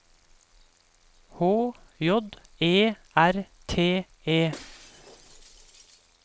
H J E R T E